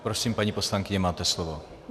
Prosím, paní poslankyně, máte slovo.